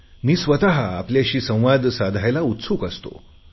मी स्वत आपल्याशी संवाद साधायला उत्सुक असतो